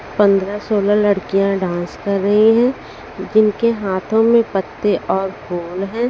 पंद्रह सोलह लड़कियां डांस कर रही हैं जिनके हाथों में पत्ते और फूल हैं।